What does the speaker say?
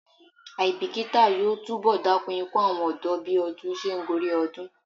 Àìbíkítà yóò túnbọ̀ dákún ikú àwọn ọ̀dọ́ bí ọdún se ń gorí ọdún.